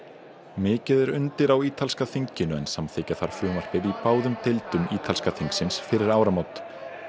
mikið er undir á ítalska þinginu en samþykkja þarf frumvarpið í báðum deildum ítalska þingsins fyrir áramót